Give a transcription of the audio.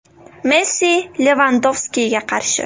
Messi Levandovskiga qarshi.